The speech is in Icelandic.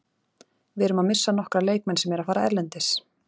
Við erum að missa nokkra leikmenn sem eru að fara erlendis.